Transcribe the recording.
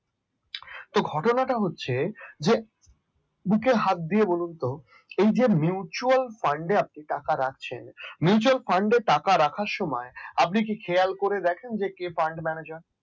তো ঘটনাটা হচ্ছে যে বুকে হাত দিয়ে বলুন তো, এই যে mutual fund আপনি টাকা রাখছেন mutual fund টাকা রাখার সময় আপনি কি খেয়াল করে দেখেন কে fund manager